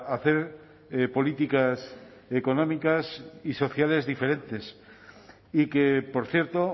hacer políticas económicas y sociales diferentes y que por cierto